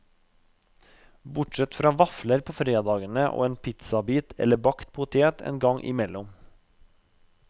Bortsett fra vafler på fredagene og en pizzabit eller bakt potet en gang imellom.